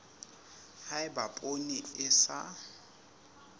ha eba poone e sa